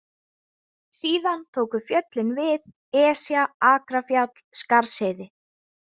Síðan tóku fjöllin við, Esja, Akrafjall, Skarðsheiði.